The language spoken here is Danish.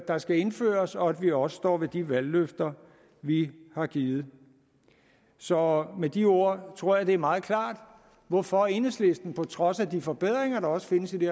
der skal indføres og at vi også står ved de valgløfter vi har givet så med de ord tror jeg det er meget klart hvorfor enhedslisten på trods af de forbedringer der også findes i det